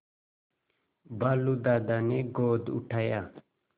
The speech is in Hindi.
भालू दादा ने गोद उठाया